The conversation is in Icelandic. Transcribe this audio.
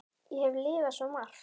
Ég hef lifað svo margt.